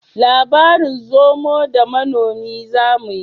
Labarin zomo da manomi zamuyi